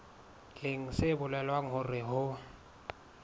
leng se bolelang hore ho